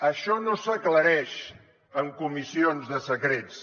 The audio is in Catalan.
això no s’aclareix en comissions de secrets